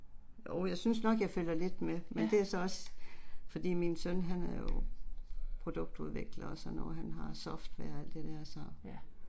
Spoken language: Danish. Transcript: Jo jeg synes nok jeg følger lidt med, men det er så også, fordi min søn han er jo produktudvikler og sådan noget, han har software og alt det der så